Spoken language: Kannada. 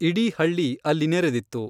ಇಡೀ ಹಳ್ಳಿ ಅಲ್ಲಿ ನೆರೆದಿತ್ತು.